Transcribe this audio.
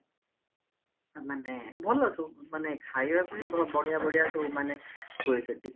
ମାନେ ଭଲ ସବୁ ମାନେ ଖାଇବା ପେଇଁ ବଢିଆ ବଢିଆ ସବୁ ମାନେ ହୁଏ ସେଠି